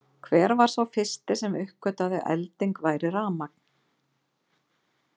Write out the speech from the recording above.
Hver var sá fyrsti sem uppgötvaði að elding væri rafmagn?